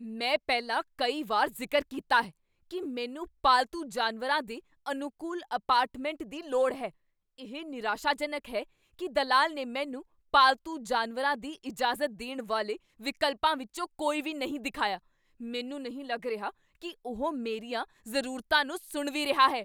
ਮੈਂ ਪਹਿਲਾਂ ਕਈ ਵਾਰ ਜ਼ਿਕਰ ਕੀਤਾ ਹੈ ਕੀ ਮੈਨੂੰ ਪਾਲਤੂ ਜਾਨਵਰਾਂ ਦੇ ਅਨੁਕੂਲ ਅਪਾਰਟਮੈਂਟ ਦੀ ਲੋੜ ਹੈ। ਇਹ ਨਿਰਾਸ਼ਾਜਨਕ ਹੈ ਕੀ ਦਲਾਲ ਨੇ ਮੈਨੂੰ ਪਾਲਤੂ ਜਾਨਵਰਾਂ ਦੀ ਇਜਾਜ਼ਤ ਦੇਣ ਵਾਲੇ ਵਿਕਲਪਾਂ ਵਿੱਚੋਂ ਕੋਈ ਵੀ ਨਹੀਂ ਦਿਖਾਇਆ। ਮੈਨੂੰ ਨਹੀਂ ਲੱਗ ਰਿਹਾ ਕੀ ਉਹ ਮੇਰੀਆਂ ਜ਼ਰੂਰਤਾਂ ਨੂੰ ਸੁਣ ਵੀ ਰਿਹਾ ਹੈ।